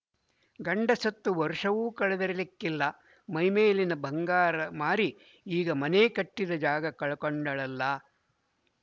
ಗಂಡ ಸತ್ತು ವರ್ಷವೂ ಕಳೆದಿರಲಿಕ್ಕಿಲ್ಲ ಮೈಮೇಲಿನ ಬಂಗಾರ ಮಾರಿ ಈಗ ಮನೆ ಕಟ್ಟಿದ ಜಾಗ ಕೊಂಡಳಲ್ಲ